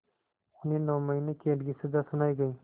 उन्हें नौ महीने क़ैद की सज़ा सुनाई गई